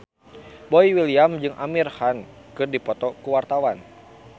Boy William jeung Amir Khan keur dipoto ku wartawan